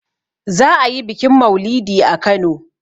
za a yi bikin maulidi a Kano